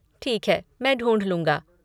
ठीक है, मैं ढूँढ लूँगा।